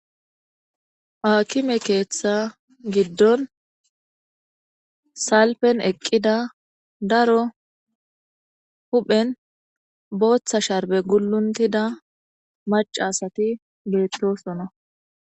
Aakime keeththa giddon salpen eqqida daro huphen booththa sharbe gulluntida mac asati geexroosona.